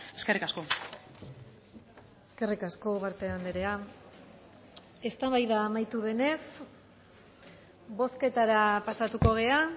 eskerrik asko eskerrik asko ugarte andrea eztabaida amaitu denez bozketara pasatuko gara